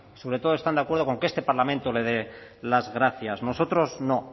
sobre todo están de acuerdo con que este parlamento le dé las gracias nosotros no